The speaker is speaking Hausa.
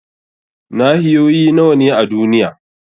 Nahiyoyi nawa ne a duniya?